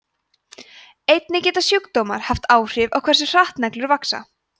einnig geta sjúkdómar haft áhrif á hversu hratt neglur vaxa